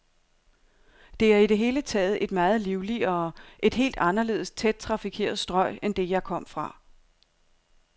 Det er i det hele taget et meget livligere, et helt anderledes tæt trafikeret strøg end det, jeg kom fra.